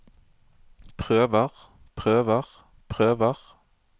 prøver prøver prøver